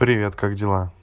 привет как дела